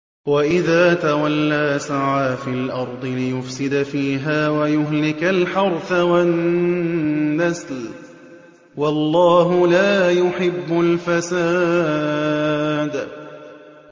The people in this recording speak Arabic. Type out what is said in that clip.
وَإِذَا تَوَلَّىٰ سَعَىٰ فِي الْأَرْضِ لِيُفْسِدَ فِيهَا وَيُهْلِكَ الْحَرْثَ وَالنَّسْلَ ۗ وَاللَّهُ لَا يُحِبُّ الْفَسَادَ